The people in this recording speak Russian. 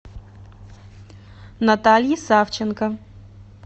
натальи савченко